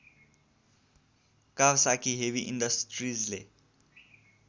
Kawasaki heavy इन्डस्ट्रिजले